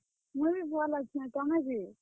ମୁଇଁ ବି ଭଲ୍ ଅଛେଁ। ତମେ ଯେ?